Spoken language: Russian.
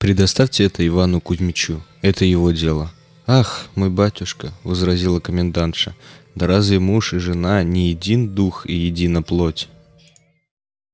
предоставьте это ивану кузмичу это его дело ах мой батюшка возразила комендантша да разве муж и жена не един дух и едина плоть